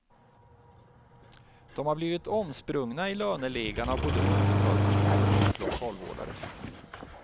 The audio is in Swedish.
De har blivit omsprungna i löneligan av både undersköterskor och lokalvårdare.